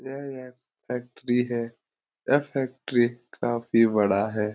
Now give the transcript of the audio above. यह एक फैक्ट्री है यह फैक्ट्री काफी बड़ा है।